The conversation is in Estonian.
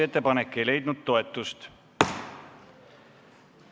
Ettepanek ei leidnud toetust.